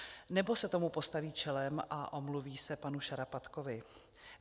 Nebo se tomu postaví čelem a omluví se panu Šarapatkovi?